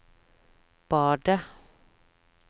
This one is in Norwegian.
badet